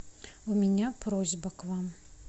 у меня просьба к вам